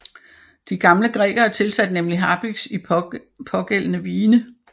De gamle grækere tilsatte nemlig harpiks i pågældende vine